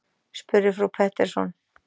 spurði frú Pettersson.